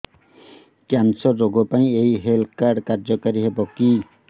cancer ରୋଗ ପାଇଁ ଏଇ ହେଲ୍ଥ କାର୍ଡ କାର୍ଯ୍ୟକାରି ହେବ କି